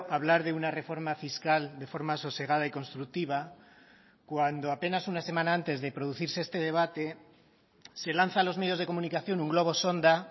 hablar de una reforma fiscal de forma sosegada y constructiva cuando apenas una semana antes de producirse este debate se lanza a los medios de comunicación un globo sonda